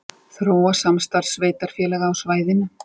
Þróa samstarf sveitarfélaga á svæðinu